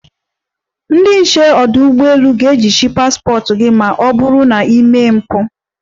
Ndị nche ọdụ ụgbọelu ga-ejichi paspọt gị ma ọ bụrụ na i mee mpụ.